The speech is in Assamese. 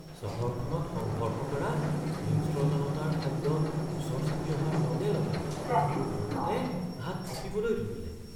চহৰখনত সংঘৰ্ষ কৰা হিংস্ৰ জনতাৰ শব্দ ওচৰ চাপি অহাৰ লগে লগে মোৰ ভয়তে হাত কঁপিবলৈ ধৰিলে।